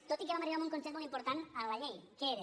tot i que vam arribar a un consens molt important en la llei que era